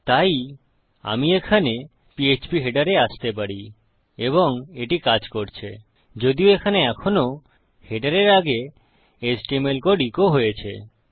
তাই আমি এখানে ফিডার এ আসতে পারি এবং এটি কাজ করছে যদিও এখানে এখনও হেডারের আগে এইচটিএমএল কোড ইকো হয়েছে